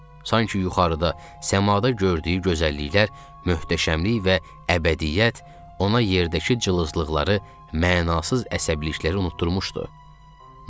Sanki yuxarıda, səmada gördüyü gözəlliklər, möhtəşəmlik və əbədiyyət ona yerdəki cılızlıqları, mənasız əsəbilikləri unutdurmuşdu.